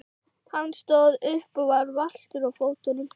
Hann stóð upp og var valtur á fótunum.